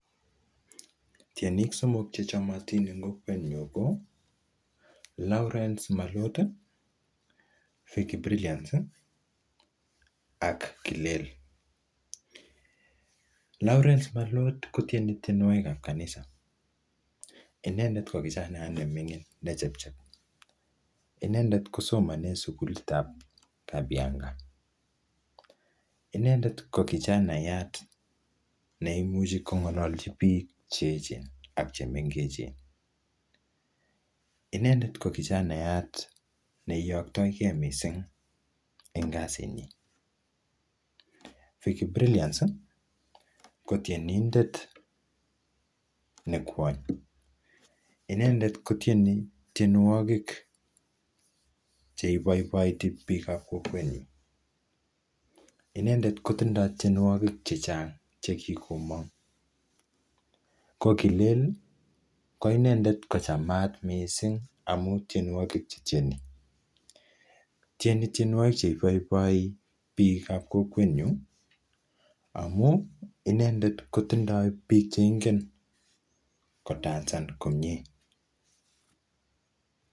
tyenik somok chechomotin en kokweet nyuun ko lawrence mallot iih, vicky brilliance iih ak killeel, lawrence mallot kotyeni tyenwogiik chebo kanisa inendeet ko kijanayaat nemingin nechechep inendeet kosomoni en suguliit ab kabianga, inendeet ko kichanayaat neimuche kongolochi biik cheechen ak chemengechen, inendeet ko kichanayaat neyoktogee mising en kasiit nyiin, vicky brilliance iih kotyenindeet ne kywoony inendeet kotyeni tyenwogiik cheiboiboiti biik ab kokweet nyuun, inendeet kotindoo tyenwogiik chechang chegigomoong ko kileel kochamaat mising amun tyenwogiik chetyeni, tyenii tyenwogiik cheiboiboiti biik ab kokweet nyuun amun inendeet kotindoo biik cheingeen kodanseen komyee.